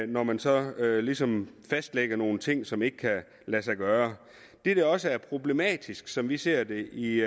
når man så ligesom fastlægger nogle ting som ikke kan lade sig gøre det der også er problematisk sådan som vi ser det i